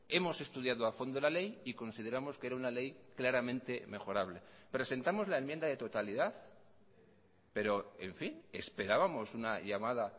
hemos estudiado a fondo la ley y consideramos que era una ley claramente mejorable presentamos la enmienda de totalidad pero en fin esperábamos una llamada